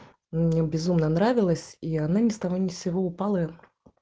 мне безумно нравилось и она ни с того ни с сего упала